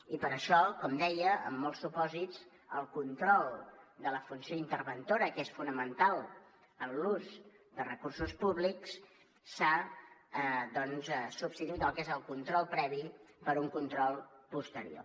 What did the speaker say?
i per això com deia en molts supòsits en el control de la funció interventora que és fonamental en l’ús dels recursos públics s’ha substituït el que és el control previ per un control posterior